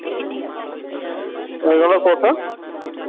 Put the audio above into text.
ওইগুলো কোথায়?